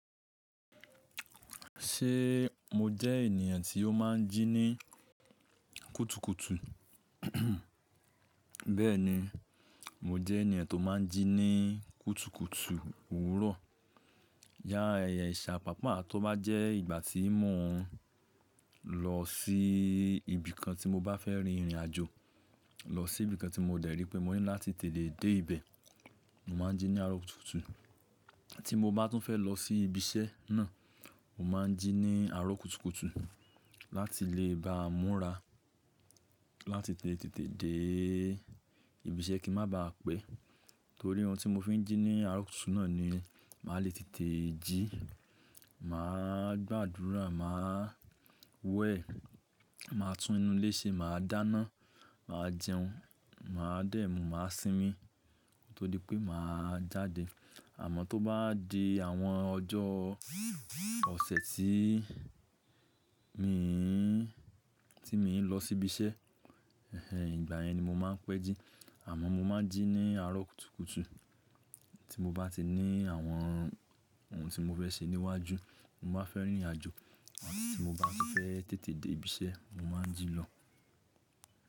Ṣé mo jẹ́ ènìyàn tí ó máa ń jí ní kùtùkùtù? Bẹ́ẹ̀ni, mo jẹ́ ènìyàn tó máa ń jí ní kùtùkùtù òwúrọ̀. Yàrá ẹ̀yà ìṣàpápa tó bá jẹ́ ìgbà tí mo lọ sí ibìkan tí mo bá fẹ́ rin ìrìnàjò, lọ sí ibìkan tí mo dẹ̀rí pé mo ní láti tètè dé ibẹ̀, mo máa ń jí ní aró kùtùkùtù. Tí mo bá tún fẹ́ lọ sí ibi iṣẹ́ náà, mo máa ń jí ní aró kùtùkùtù láti lè bá múra, láti tètè dé ibi iṣẹ́ kí má ba à pẹ́. Torí ohun tí mo fi ń jí ní aró kùtùkùtù náà ni màá lè tètè jí, màá gbàdúrà, màá wẹ̀, màá tún nu ilé ṣe, màá dáná, màá jẹun, màá dẹ̀mù, màá sinmi tódipé màá jáde. Àmọ́ tó bá di àwọn ọjọ́ ọ̀sẹ̀ tí mi ń, tí mo ń lọ sí ibi iṣẹ́, ẹ̀hen ìgbà yẹn ni mo máa ń pẹ́ jí. Àmọ́ mo máa ń jí ní aró kùtùkùtù tí mo bá ti ní àwọn ohun tí mo fẹ́ ṣe níwájú, mo bá fẹ́ rìn ìrìnàjò àti tí mo bá ti fẹ́ tètè dé ibi iṣẹ́, mo máa ń jí lọ.